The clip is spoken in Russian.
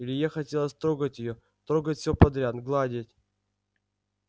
илье хотелось трогать её трогать все подряд гладить